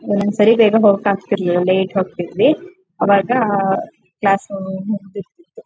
ಒಂದೊಂದ್ ಸರಿ ಬೇಗ ಹೋಗೋಕ್ ಆಗ್ತಾ ಇರ್ಲಿಲ್ಲ ಲೇಟ್ ಹೋಗ್ತಿದ್ವಿ. ಅವಾಗ ಅಹ ಕ್ಲಾಸು ಮುಗದಿರ್ತಿತ್ತು.